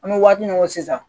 An bɛ waati min ko sisan